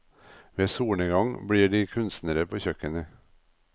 Ved solnedgang blir de kunstnere på kjøkkenet.